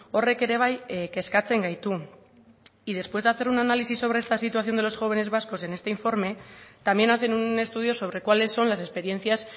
horrek ere bai kezkatzen gaitu y después de hacer un análisis sobre esta situación de los jóvenes vascos en este informe también hacen un estudio sobre cuáles son las experiencias